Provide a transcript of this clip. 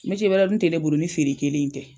wɛrɛ dun tɛ ne bolo ni feere kelen in tɛ.